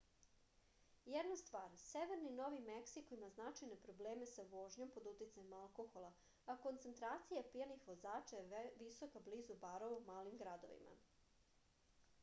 jedna stvar severni novi meksiko ima značajne probleme sa vožnjom pod uticajem alkohola a koncentracija pijanih vozača je visoka blizu barova u malim gradovima